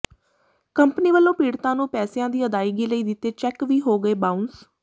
company ਵੱਲੋਂ ਪੀੜਤਾਂ ਨੂੰ ਪੈਸਿਆਂ ਦੀ ਅਦਾਇਗੀ ਲਈ ਦਿੱਤੇ ਚੈੱਕ ਵੀ ਹੋ ਗਏ ਬਾਊਂਸ